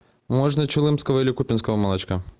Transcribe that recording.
можно чулымского или купинского молочка